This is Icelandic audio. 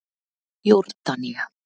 Jórdanía